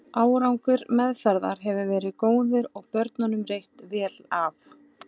Árangur meðferðar hefur verið góður og börnunum reitt vel af.